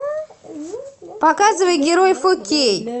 показывай герой фо кей